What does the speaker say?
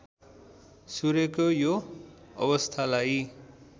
सूर्यको यो अवस्थालाई